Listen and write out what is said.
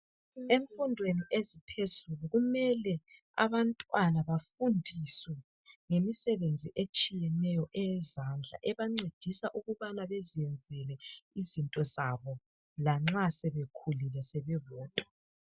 Emfundweni eziphezulu kumele abantwana befundiswe imisebenzi etshiyeneyo eyezandla ebancedisa ukuba bazenzele izinto zabo lanxa sebekhulile bebodwa